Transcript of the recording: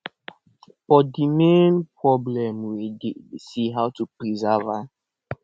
but de main problem wey dey say how to preserve am